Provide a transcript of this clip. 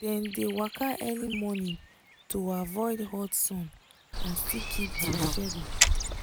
dem dey waka early morning to avoid hot sun and still keep to schedule